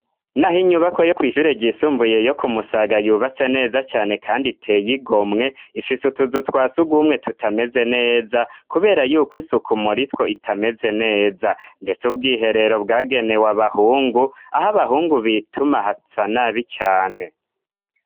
N'aho inyubako yo ku ishure gyisumbuye yo kumusaga yubatse neza cyane kandi iteye igomwe ifise utuzu twas ugumwe tutameze neza kubera yuko isuku muri two itameze neza ndetse ubw'iherero bwagenewe abahungu aho abahungu bituma hasanabi cyane.